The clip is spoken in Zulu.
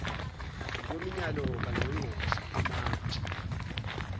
ngokwemiyalo kangqonqgoshe umantshi